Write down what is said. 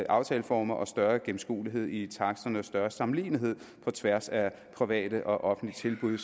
aftaleformer og større gennemskuelighed i taksterne og større sammenlignelighed på tværs af private og offentlige tilbud det